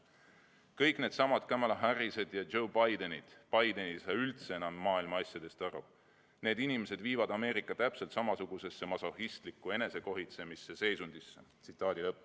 Ja nüüd needsamad Kamala Harrised ja Joe Bidenid – no Joe Biden ei saa üldse maailma asjadest enam aru –, need inimesed viivad Ameerikat täpselt samasugusesse masohhistliku enesekohitsemise seisundisse.